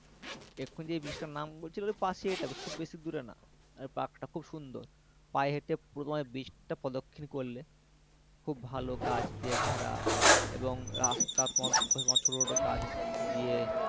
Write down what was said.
এক্ষুনি যে beach তার নাম করছিলে পাঁচ মিনিট হবে খুব বেশি দূরে না park টা খুব সুন্দর পায়ে হেঁটে প্রথমে beach টা প্রদক্ষিণ করলে খুব ভালো গাছ দিয়ে ঘেরা এবং রাস্তা পথ ধরে ছোট ছোট গাছ দিয়ে,